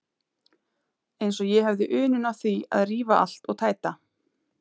Eins og ég hefði unun af því að rífa allt og tæta.